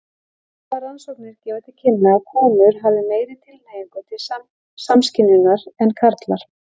Sumar rannsóknir gefa til kynna að konur hafi meiri tilhneigingu til samskynjunar en karlar.